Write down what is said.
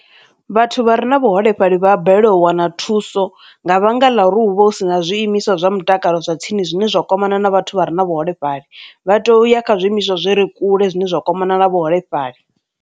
Vhathu vha re na vhuholefhali vha balelwa u wana thuso nga vhanga ḽa ri hu vha hu si na zwi imiswa zwa mutakalo zwa tsini zwine zwa kwamana na vhathu vha re na vhuholefhali, vha tea u ya kha zwiimiswa zwi re kule zwine zwa kwama na vhuholefhali.